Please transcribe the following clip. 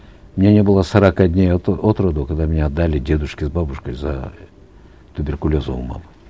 мне не было сорока дней от роду когда меня отдали дедушке с бабушкой из за туберкулеза у мамы